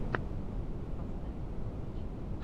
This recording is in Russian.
поставь новрич